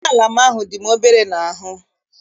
Uwe ala m ahụ dị obere n'ahụ m.